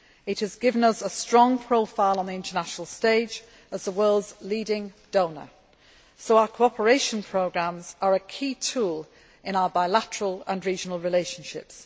It has given us a strong profile on the international stage as the world's leading donor, so our cooperation programmes are a key tool in our bilateral and regional relationships.